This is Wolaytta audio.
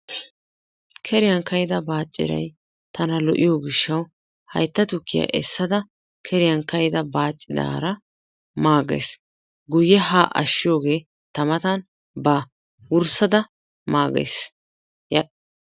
Keriyan ka"ida baaccirayi tana lo"iyo gishshawu haytta tukkiya essada keriyan ka"ida baacciraara maagays. Guyye haa ashshiyogee ta matan baawa. Wurssada maagays.